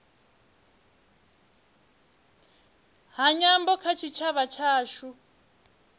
ha nyambo kha tshitshavha tshashu